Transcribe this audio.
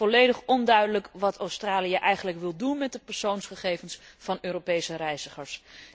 Het blijft volledig onduidelijk wat Australië eigenlijk wil doen met de persoonsgegevens van Europese reizigers.